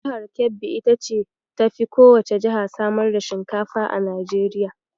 Jihar Kebbi ita ce ta fi kowacce jiha samar da shinkafa a Najeriya.